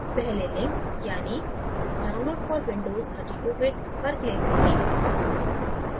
पहले link यानी download for windows 32 bit पर click करें